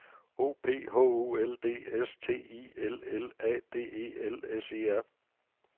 O P H O L D S T I L L A D E L S E R